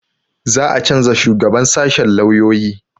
Za a canza shugaban sashen lauyoyi